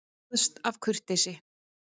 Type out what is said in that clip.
Kvaðst af kurteisi.